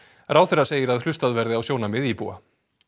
ráðherra segir að hlustað verði á sjónarmið íbúa